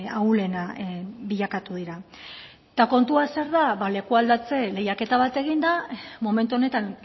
ahulena bilakatu dira eta kontuz zer da ba lekualdatze lehiaketa bat egin da momentu honetan